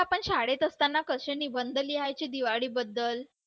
आपण शाळेत असताना कसे निबंध लिहायचे दिवाळीबद्दल